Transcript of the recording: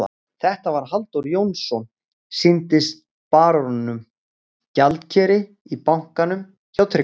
Þetta var Halldór Jónsson, sýndist baróninum, gjaldkeri í bankanum hjá Tryggva.